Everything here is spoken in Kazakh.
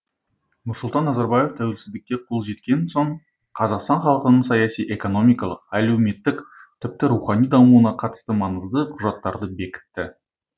нұрсұлтан назарбаев тәуелсіздікке қол жеткен соң қазақстан халқының саяси экономикалық әлеуметтік тіпті рухани дамуына қатысты маңызды құжаттарды бекітті